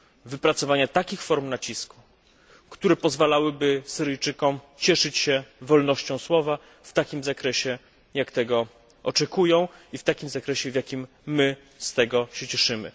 wypracowania takich form nacisku, który pozwalałyby Syryjczykom cieszyć się wolnością słowa w takim zakresie, jak tego oczekują i w takim zakresie, w jakim my się z tego cieszymy.